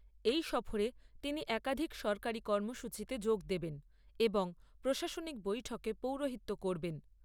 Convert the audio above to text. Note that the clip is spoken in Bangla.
এই সফরে তিনি একাধিক সরকারি কর্মসূচিতে যোগ দেবেন এবং প্রশাসনিক বৈঠকে পৌরোহিত্য করবেন।